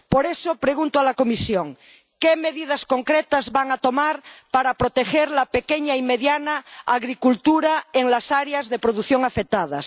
Por eso, pregunto a la Comisión ¿qué medidas concretas va a tomar para proteger la pequeña y mediana agricultura en las áreas de producción afectadas?